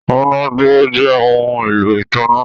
amunàdúró jẹ ohùn èlò ìtanná.